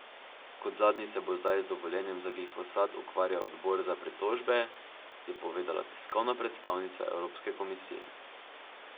Kot zadnji se bo zdaj z dovoljenjem za glifosat ukvarjal odbor za pritožbe, je povedala tiskovna predstavnica Evropske komisije.